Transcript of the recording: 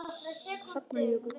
Hrafnar Jökull.